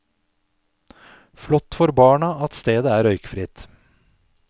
Flott for barna at stedet er røykfritt.